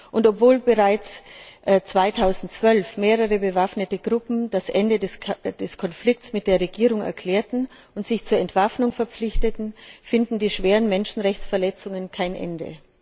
Und obwohl bereits 2012 mehrere bewaffnete Gruppen das Ende des Konflikts mit der Regierung erklärt und sich zur Entwaffnung verpflichtet haben, nehmen die schweren Menschenrechtsverletzungen kein Ende.